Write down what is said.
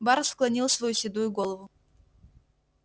бар склонил свою седую голову